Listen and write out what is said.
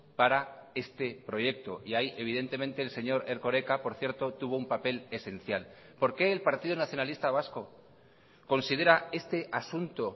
para este proyecto y ahí evidentemente el señor erkoreka por cierto tuvo un papel esencial por qué el partido nacionalista vasco considera este asunto